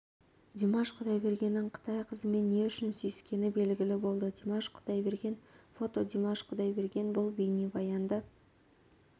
димаш құдайбергеннің қытай қызымен не үшін сүйіскені белгілі болды димаш құдайберген фото димаш құдайберген бұл бейнебаянды